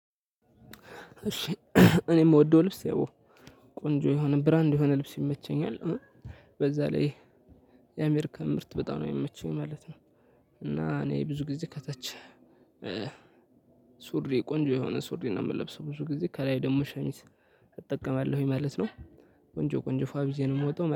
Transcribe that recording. እሺ እኔ የምወደው ልብስ ያው ቆንጆ የሆነ ብራንድ የሆነ ልብስ ይመቸኛል። በዛ ላይ የአሜሪካ ምርት በጣም ነው የሚመቸኝ ማለት ነው እና እኔ ብዙ ጊዜ ከታች ሱሪ ቆንጆ የሆነ ሱሪ ነው የምለብሰው ብዙ ጊዜ ከላይ ደግሞ ሸሚዝ እጠቀማለሁኝ ማለት ነው። ቆንጆ ቆንጆ ፏ ብየ ነው የምወጣው